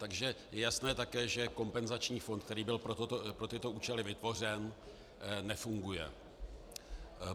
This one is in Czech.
Takže je jasné také, že kompenzační fond, který byl pro tyto účely vytvořen, nefunguje.